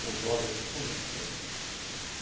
Com jovens assim, eu comento esse assunto.